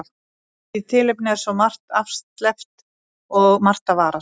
Í því efni er svo margt afsleppt og margt að varast.